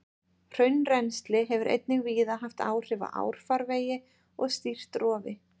Hraunrennsli hefur einnig víða haft áhrif á árfarvegi og stýrt rofi.